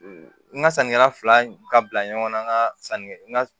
N ka sannikɛla fila ka bila ɲɔgɔn na n ka sanni n ka